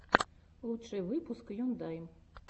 лучший выпуск ендайм